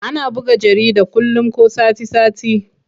Ana buga jarida kullum ko sati-sati.